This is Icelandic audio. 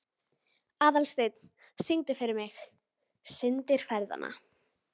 Aðalsteinunn, syngdu fyrir mig „Syndir feðranna“.